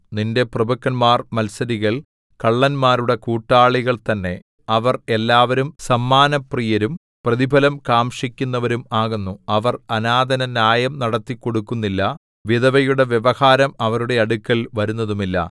നിന്റെ പ്രഭുക്കന്മാർ മത്സരികൾ കള്ളന്മാരുടെ കൂട്ടാളികൾ തന്നെ അവർ എല്ലാവരും സമ്മാനപ്രിയരും പ്രതിഫലം കാംക്ഷിക്കുന്നവരും ആകുന്നു അവർ അനാഥനു ന്യായം നടത്തിക്കൊടുക്കുന്നില്ല വിധവയുടെ വ്യവഹാരം അവരുടെ അടുക്കൽ വരുന്നതുമില്ല